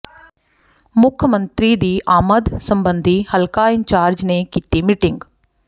ਮੁੱਖ ਮੰਤਰੀ ਦੀ ਆਮਦ ਸਬੰਧੀ ਹਲਕਾ ਇੰਚਾਰਜ ਨੇ ਕੀਤੀ ਮੀਟਿੰਗ